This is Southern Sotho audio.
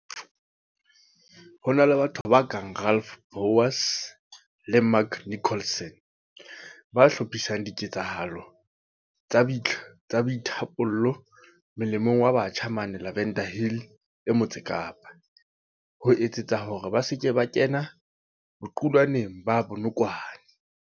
Ho na le batho ba kang Ralph Bouwers le Mark Nicholson, ba hlophisang diketsahalo tsa boithapollo molemong wa batjha mane Lavender Hill e Motse Kapa, ho etsetsa hore ba se ke ba kena boqulwaneng ba dinokwane.